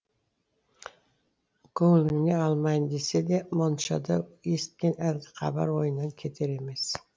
көңіліне алмайын десе де моншада есіткен әлгі хабар ойынан кетер емес